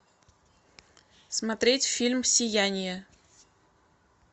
смотреть фильм сияние